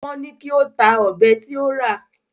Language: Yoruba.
Wọ́n ní kí ó ta ọ̀bẹ tí ó rà